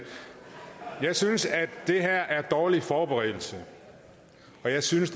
jeg synes at det her er dårlig forberedelse og jeg synes